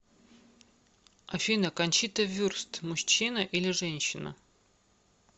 афина кончита вюрст мужчина или женщина